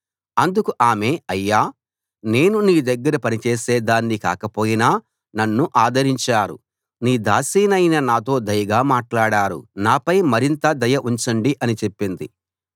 అందుకు ఆమె అయ్యా నేను నీ దగ్గర పని చేసేదాన్ని కాకపోయినా నన్ను ఆదరించారు నీ దాసినైన నాతో దయగా మాట్లాడారు నాపై మరింత దయ ఉంచండి అని చెప్పింది